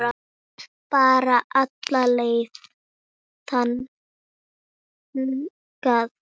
Bara alla leið þangað!